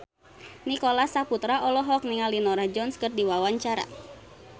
Nicholas Saputra olohok ningali Norah Jones keur diwawancara